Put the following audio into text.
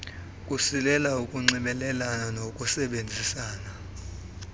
kusilela ukunxibelelana nokusebenzisana